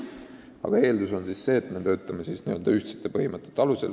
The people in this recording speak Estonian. Aga eeldus on see, et me töötame ühtsete põhimõtete alusel.